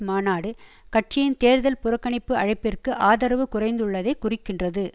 மாநாடு கட்சியின் தேர்தல் புறக்கணிப்பு அழைப்பிற்கு ஆதரவு குறைந்துள்ளதைக் குறிக்கின்றது